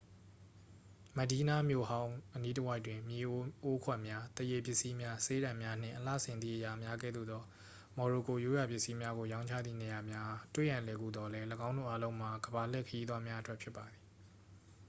မက်ဒီးနား မြို့ဟောင်းအနီးတစ်ဝိုက်တွင် မြေအိုး အိုးခွက်များ သားရေပစ္စည်းများ ဆေးတံများ နှင့် အလှဆင်သည့်အရာများကဲ့သို့သော မော်ရိုကိုရိုးရာပစ္စည်းများကိုရောင်းချသည့်နေရာများအား တွေ့ရန်လွယ်ကူသော်လည်း ၎င်းတို့အားလုံးမှာ ကမ္ဘာလှည့်ခရီးသွားများအတွက်ဖြစ်ပါသည်